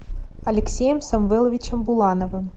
алексеем самвеловичем булановым